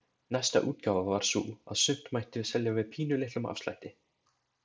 Næsta útgáfa var sú að sumt mætti selja með pínulitlum afslætti.